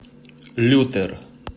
лютер